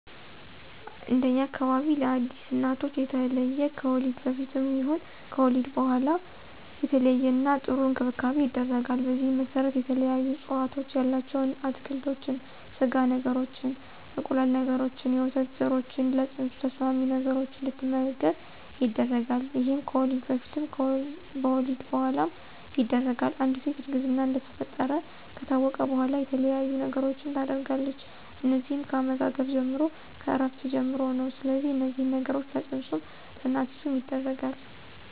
እንደኛ አካባቢ ለአዲስ እናቶች የተለየ ከወሊድ በፊትም ይሁን ከወሊድ በኋላ የተለየና ጥሩ እንክብካቤ ይደረጋል። በዚህም መሰረት የተለያዩ አስተዋፅኦ ያላቸው አትክልቶችን፣ ስጋ ነገሮችን፣ እንቁላል ነገሮችንና የወተት ዘሮችን ለፅንሱ ተስማሚ ነገሮች እንድትመገብ ይደረጋል ይሄም ከወሊድ በፊትም በወሊድ በኋላም ይደረጋል፣ አንድ ሴት እርግዝና እንደተፈጠረ ከታወቀ በኋላ የተለያየ ነገሮችን ታደርጋለች እነዚህም ከአመጋገብ ጀምሮ፣ ከእረፍት ጀምሮ ነው ስለዚህ እነዚህን ነገሮች ለፅንሱም ለእናቲቱም ይደረጋል።